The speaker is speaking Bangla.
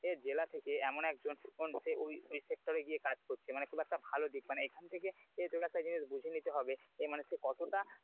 জেলা থেকে এমন একজন ওই sector এ গিয়ে কাজ করছে মানে খুব একটা ভালো দিক মানে এখান থেকে তোর একটা জিনিস বুঝে নিতে হবে যে মানুষকে কতটা,